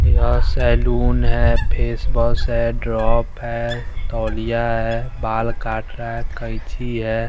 यह सैलून है फेसवॉश है ड्रॉप है तौलिया है बाल काट रहा है कैंची है।